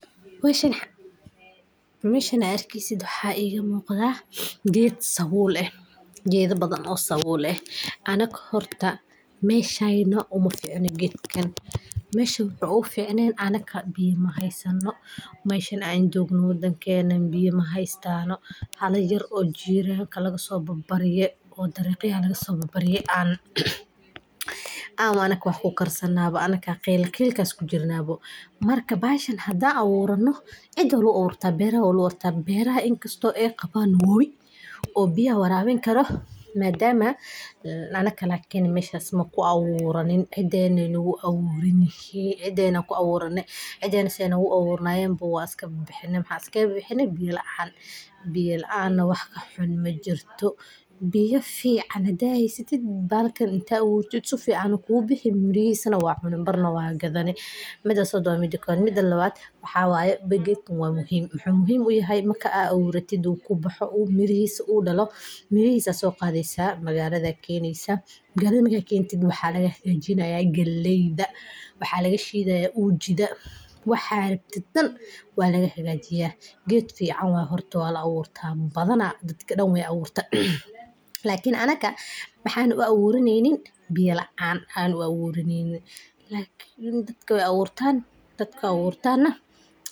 Meshan aad arkeysid waxa iga muqda ged sawul eh ama geda badan oo sawul eh, meshayna horta umaficna gedkan, sabulkeeda la dubo oo dabka la saaro, waxaa la raacaa hab dhaqameed soo jireen ah oo aad u xiiso badan, kuna saleysan samir iyo farsamo fiican. Galleyda marka hore waa in la goostaa iyadoo weli bislaatay, kadibna la nadiifiyaa si looga saaro wasakhda, caleemaha, iyo waxyaabaha kale ee ku dheggan. Kadib, galleyda qaarkeed waxaa loo diyaariyaa iyagoo koofiyadooda sabulka ku dahaaran aan laga bixin, lakin anaka waxan u aburanenin biyo laan aan u aburanenin, lakin ogow dadka wey aburtan ,aburtana.